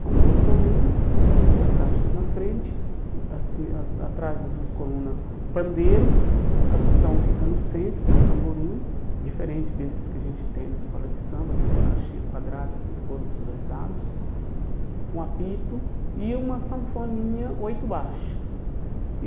São duas colunas, duas caixas na frente, hum assim as a atrás das duas colunas, pandeiro, o capitão fica no centro com o tamborim, diferente desses que a gente tem na escola de samba, que é uma caixinha quadrada com coro dos dois lados, um apito e uma sanfoninha, oito baixo e.